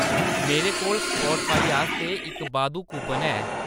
मेरे कोल स्पॉटफाई आस्तै इक बाद्धू कूपन है।